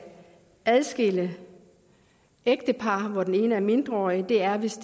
adskille ægtepar altså hvor den ene er mindreårig er hvis